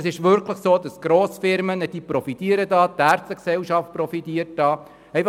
Die Grossfirmen sowie die Ärztegesellschaft profitieren davon.